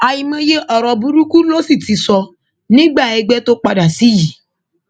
àìmọye ọrọ burúkú ló sì ti sọ nígbà ẹgbẹ tó padà sí yìí